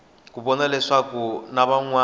ku vona leswaku n wana